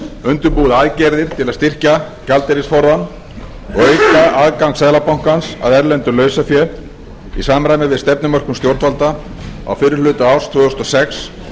undirbúið aðgerðir til að styrkja gjaldeyrisforðann og auka aðgang seðlabankans að erlendu lausafé í samræmi við stefnumörkun stjórnvalda á fyrri hluta árs tvö þúsund og sex